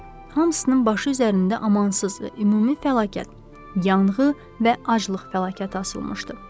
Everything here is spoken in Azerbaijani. Hamısının başı üzərində amansız və ümumi fəlakət, yanğı və aclıq fəlakəti asılmışdı.